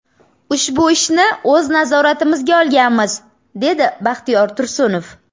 Ushbu ishni o‘z nazoratimizga olganmiz”, dedi Baxtiyor Tursunov.